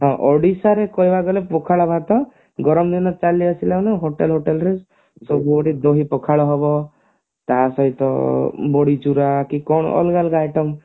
ହଁ ଓଡିଶା ରେ କହିବାକୁ ଗଲେ ପଖାଳ ଭାତ ଗରମ ଦିନ ଚାଲିଆସିଲା ମାନେ hotel ଫୋଟେଲ ରେ ସବୁ ଆଡେ ଦହି ପଖାଳ ହେବ ତା ସହିତ ବଢି ଚୁରା କି କଣ ଅଲଗା ଅଲଗା item